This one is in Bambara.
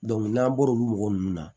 n'an bɔra olu mɔgɔ ninnu na